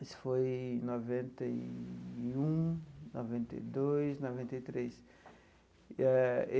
Isso foi em noventa e um, noventa e dois, noventa e três eh.